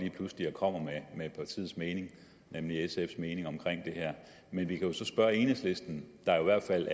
kommer med partiets mening nemlig sfs mening om det her men vi kan jo så spørge enhedslisten der i hvert fald